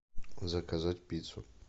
заказать пиццу